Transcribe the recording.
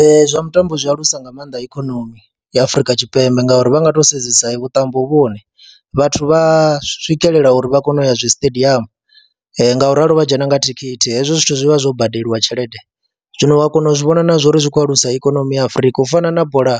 Ee, zwa mutambo zwi alusa nga maanḓa ikonomi ya Afrika Tshipembe ngauri vha nga tou sedzesa vhuṱambo vhu hone vhathu vha a swikelela uri vha kone u ya zwi stadium nga u ralo vha dzhena nga thikhithi, hezwi zwithu zwi vha zwo badeliwa tshelede. Zwino wa kona u zwi vhona na zwa uri zwi khou alusa ikonomi ya Afrika u fana na bola